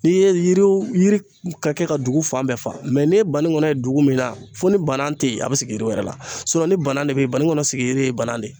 N'i ye yiri yiri ka kɛ ka dugu fan bɛɛ fa ne ye banikɔnɔ ye dugu min na fo ni bana te yen a bi sigi yiri wɛrɛ la ni bana de be yen banikɔnɔ sigiri ye bana de ye.